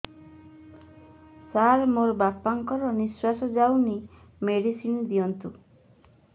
ସାର ମୋର ବାପା ଙ୍କର ନିଃଶ୍ବାସ ଯାଉନି ମେଡିସିନ ଦିଅନ୍ତୁ